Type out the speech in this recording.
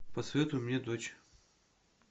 посоветуй мне дочь